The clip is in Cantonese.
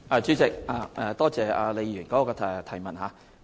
主席，多謝李議員的補充質詢。